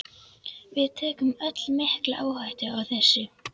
Við tökum öll mikla áhættu með þessu.